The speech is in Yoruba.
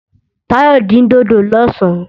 Táyọ̀ dín dòdò lọ̀sán